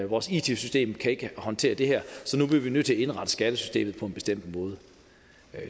vores it system kan ikke håndtere det her så nu bliver vi nødt til at indrette skattesystemet på en bestemt måde